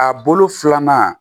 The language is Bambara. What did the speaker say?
A bolo filanan